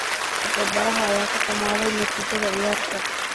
Tababaraha ayaa ka huumaday natiijada ciyaarta.